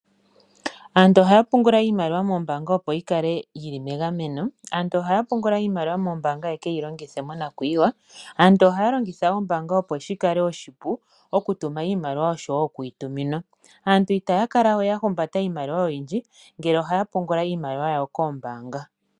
Aantu ohaa pungula iimaliwa moombaanga, opo yi kale yi li megameno. Ohaye yi pungula wo, opo yeke yi longithe monakuyiwa. Ohaa longitha oombaanga, opo shi kale oshipu okutuma iimaliwa nosho wo okuyi tuminwa. Itaya kala we ya humbata iimaliwa oyindji ngele ohaye yi pungula koombaanga.